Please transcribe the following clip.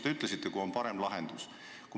Te ütlesite, et kui on parem lahendus, siis valime selle.